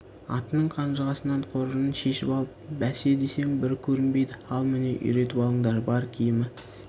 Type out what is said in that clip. атының қанжығасынан қоржынын шешіп алып бәсе десем бір көнбейді ал міне үйретіп алыңдар бар киімі